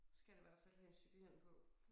Skal da i hvert fald have en cykelhjelm på